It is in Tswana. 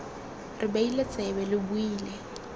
re beile tsebe lo buile